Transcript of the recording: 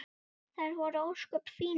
Þær voru ósköp fínar.